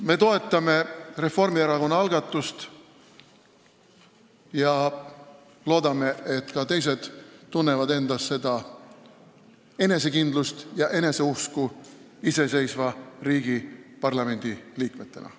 Me toetame Reformierakonna algatust ja loodame, et ka teised tunnevad endas enesekindlust ja eneseusku iseseisva riigi parlamendi liikmetena.